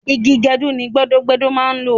Igi gẹdú ni gbẹ́dọ́-gbẹ́dọ́ máa ń lò